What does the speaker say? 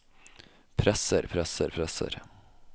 presser presser presser